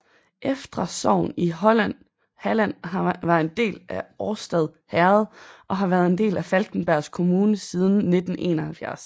Eftra sogn i Halland var en del af Årstad herred og har været en del af Falkenbergs kommun siden 1971